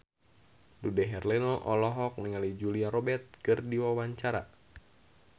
Dude Herlino olohok ningali Julia Robert keur diwawancara